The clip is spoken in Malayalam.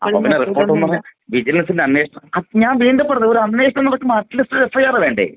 സ്പീക്കർ 1അപ്പൊ പിന്നെ റിപ്പോർട്ട് ന്ന് പറഞ്ഞാൽ വിജിലൻസിന്റെ അന്വേഷണം ഞാൻ വീണ്ടും പറയുന്നു ഒരു അന്വേഷണം നടക്കുമ്പോള്‍ അറ്റ് ലീസ്റ്റ് ഒരു എഫ്ഐആർ വേണ്ടേ?